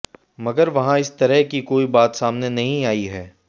मगर वहां इस तरह की कोई बात सामने नहीं आई है